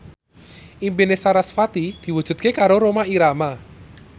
impine sarasvati diwujudke karo Rhoma Irama